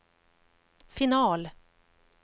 final